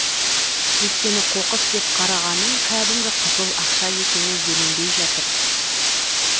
өйткені қоқыс деп қарағаның кәдімгі қызыл ақша екені еленбей жатыр